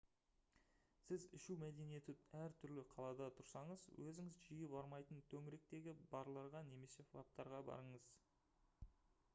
сіз ішу мәдениеті әртүрлі қалада тұрсаңыз өзіңіз жиі бармайтын төңіректегі барларға немесе пабтарға барыңыз